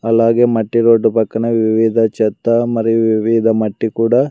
అలాగే మట్టి రోడ్డు పక్కన వివిధ చెత్త మరియు వివిధ మట్టి కూడా.